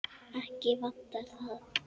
Ekki vantar það.